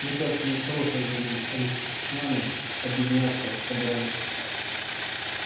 мне кажется не от хорошей жизни они с нами объединяться собрались